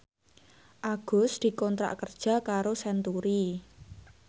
Agus dikontrak kerja karo Century